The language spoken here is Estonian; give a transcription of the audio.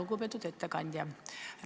Lugupeetud ettekandja!